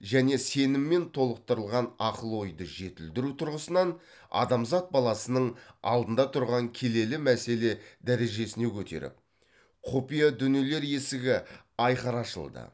және сеніммен толықтырылған ақыл ойды жетілдіру тұрғысынан адамзат баласының алдында тұрған келелі мәселе дәрежесіне көтеріп құпия дүниелер есігі айқара ашылды